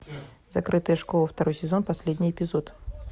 закрытая школа второй сезон последний эпизод